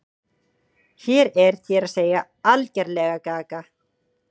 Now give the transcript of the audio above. Hún er, þér að segja, algerlega gaga.